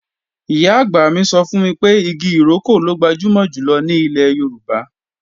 Ìyá-àgbà mi sọ fún mi pé igi ìrókò ló gbajúmọ̀ jùlọ ní ilẹ̀ Yorùbá